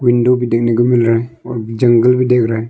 Window भी देखने को मिल रहा है और जंगल भी दिख रहा है।